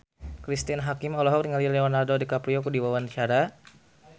Cristine Hakim olohok ningali Leonardo DiCaprio keur diwawancara